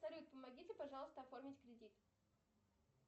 салют помогите пожалуйста оформить кредит